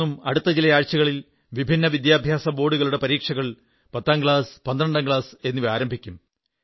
രാജ്യമെങ്ങും അടുത്ത ചില ആഴ്ചകളിൽ വിഭിന്ന വിദ്യാഭ്യാസ ബോർഡുകളുടെ പരീക്ഷകൾ പത്താംക്ലാസ് പന്ത്രണ്ടാം ക്ലാസ് എന്നിവ ആരംഭിക്കും